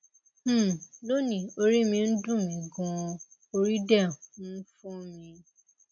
um lónìí orí mi ń dunmi ganan ori de um n fo mi